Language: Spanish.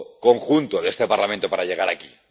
conjunto de este Parlamento para llegar aquí.